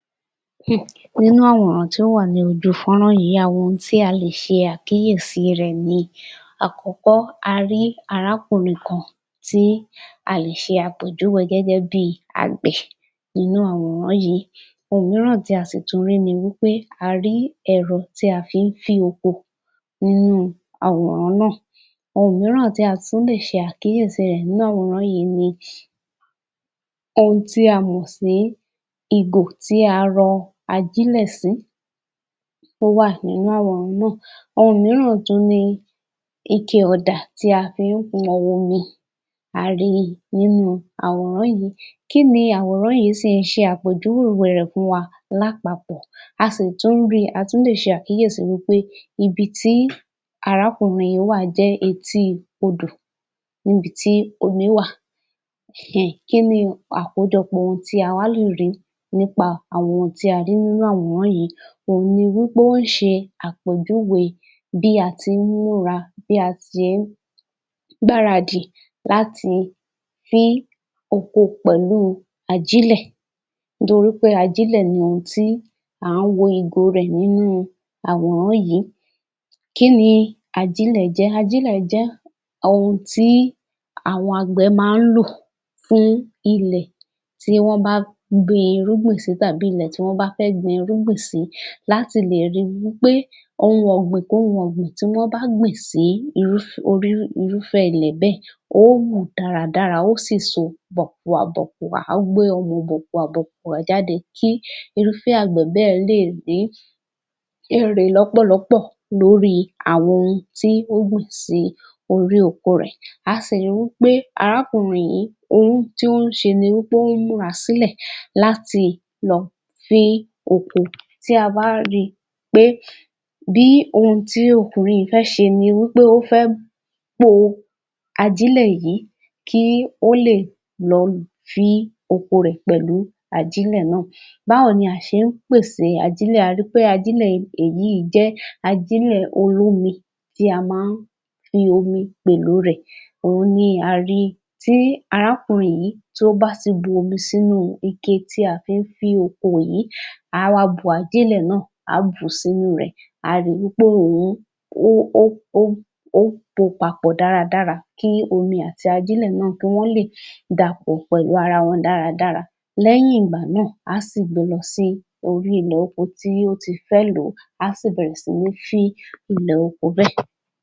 Nínú àwòrán tí ó wà ní ojú fọ́nrán yìí, a wo ohun tí a lè ṣe àkíyèsí rẹ̀ ni. Àkọ́kọ́ a rí arákùnrin kan tí a lè ṣe àpèjúwe gẹ́gẹ́ bíi àgbẹ̀ inú àwòrán yìí. Ohun mìíràn tí a sì tún rí ni wí pé a rí ẹ̀rọ tí a fi ń fín oko nínú àwòrán náà. Ohun mìíràn tí a tún lè ṣe àkíyèsí rẹ̀ nínú àwòrán yìí ní ohun tí a mọ̀ sí ìgò tí a rọ ajílẹ̀ sí ó wà nínú àwòrán náà. Ohun mìíràn tún ní ike-ọ̀dà tí a fi ń pọn omi, a rí i nínú àwòrán yìí. Kí ni àwòrán yìí sì ń ṣe àpèjúwe rẹ̀ fún wa lápapọ̀? A sì tún rí, a tún lè ṣàkíyèsí wí pé ibi tí arákùnrin yìí wà jẹ́ etí i odò, níbi tí omi wà um. Kí ni àkójọpọ̀ ohun tí a wá lè rí nípa àwọn ohun tí a rí nínú àwòrán yìí? Òhun ni wí pé ó ń ṣe àpèjúwe bí a tí ń múra, bí a tí ń gbaradì láti fí oko pẹ̀lú ajílẹ̀ nítorí pé ajílẹ̀ ni ohun tí à ń wo ìgò rẹ̀ nínú àwòrán yìí. Kí ni ajílẹ̀ jẹ́? Ajílẹ̀ jẹ́ ohun tí àwọn àgbẹ̀ máa ń lò fún ilẹ̀ tí wọ́n bá gbin irúgbìn sí tàbí ilẹ̀ tí wọ́n bá fẹ́ gbin irúgbìn sí láti lè rí wí pé ohun ọ̀gbìn kóhun ọ̀gbìn tí wọ́n bá gbìn sí irúfẹ́ ilẹ̀ bẹ́ẹ̀ ó wù dára dára, ó sì so bọ̀kùà bọ̀kùà, á gbé ọmọ bọ̀kùà bọ̀kùà jáde kí irúfẹ́ àgbẹ̀ bẹ́ẹ̀ lè rí èrè lọ́pọ̀lọpọ̀ lórí àwọn ohun tí ó gbìn sí orí oko rẹ̀. A sì rí pé arákùnrin yìí ohun tí ó ń ṣe ní wí pé ó ń múra sílẹ̀ láti lọ fín oko. Tí a bá ri pé bí ohun tí ọkùnrin yìí fẹ́ ṣe ni pé ó fẹ́ po ajílẹ̀ yìí kí ó lè lọ fín oko rẹ̀ pẹ̀lú ajílẹ̀ náà. Báwo ni a ṣe ń pèsè ajílẹ̀? A ri pé ajílẹ̀ èyí jẹ́ ajílẹ̀ olómi tí a máa ń fi omi pèlò rẹ̀. Òhun ni a rí tí arákùnrin yìí tí ó bá ti bu omi sínú ike tí a fi ń fín oko yìí, á wá bu ajílẹ̀ náà á bù ú sínú rẹ̀, á rí wí pé òun ó pò ó papọ̀ dára dára kí omi àti ajílẹ̀ náà kí wọ́n lè dàpọ̀ pẹ̀lú ara wọn dára dára. Lẹ́yìn ìgbà náà, á sì gbe lọ sí orí ilẹ̀ oko tí ó ti fẹ́ lò ó, á sì bẹ̀rẹ̀ sí ní fín ilẹ̀ oko bẹ́ẹ̀.